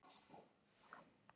Katla og Tindfjöll.